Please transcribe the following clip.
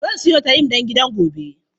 Zan siyo tayim don gidan gobe.